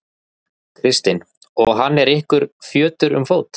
Kristinn: Og hann er ykkur fjötur um fót?